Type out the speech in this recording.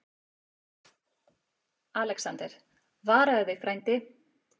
ALEXANDER: Varaðu þig, frændi.